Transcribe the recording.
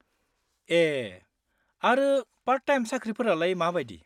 ए, आरो part time साख्रिफोरालाय मा बायदि?